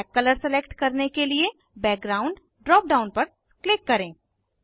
black colour select करने के लिए बैकग्राउंड ड्राप डाउन पर क्लिक करें